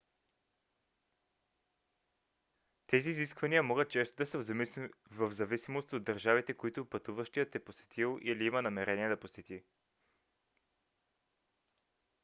тези изисквания могат често да са в зависимост от държавите които пътуващият е посетил или има намерение да посети